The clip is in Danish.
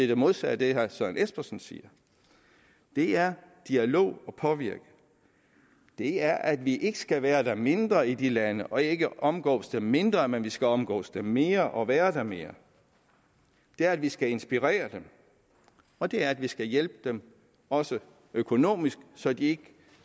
det modsatte af det herre søren espersen siger det er dialog og påvirkning det er at vi ikke skal være der mindre i de lande og ikke omgås dem mindre men at vi skal omgås dem mere og være der mere det er at vi skal inspirere dem og det er at vi skal hjælpe dem også økonomisk så de